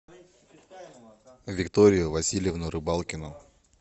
викторию васильевну рыбалкину